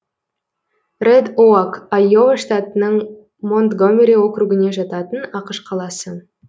рэд оак айова штатының монтгомери округіне жататын ақш қаласы